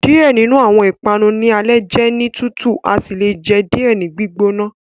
Diẹ ninu awọn ipanu ni ale jẹ ni tutu asi le jẹ diẹ ni gbigbona